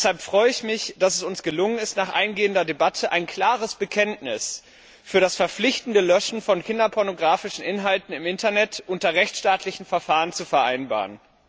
Deshalb freue ich mich, dass es uns gelungen ist, nach eingehender Debatte ein klares Bekenntnis zum verpflichtenden Löschen von kinderpornographischen Inhalten im Internet unter rechtsstaatlichen Verfahren zu vereinbaren.